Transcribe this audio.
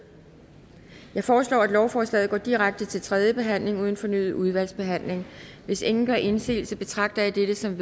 jeg foreslår at lovforslaget går direkte til tredje behandling uden fornyet udvalgsbehandling hvis ingen gør indsigelse betragter jeg dette som